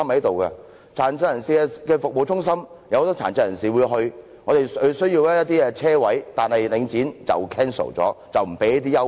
設有殘疾人士服務中心，自會有很多殘疾人士前往，當然需要一些車位，但領展卻取消相關的優惠。